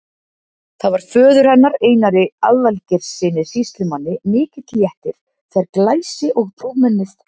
Það var föður hennar, Einari Aðalgeirssyni sýslumanni, mikill léttir þegar glæsi- og prúðmennið